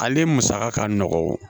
Ale musaka ka nɔgɔn